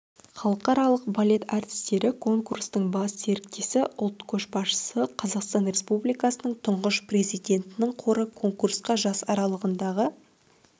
халықаралық балет әртістері конкурсының бас серіктесі ұлт көшбасшысы қазақстан республикасының тұңғыш президентінің қоры конкурсқа жас аралығындағы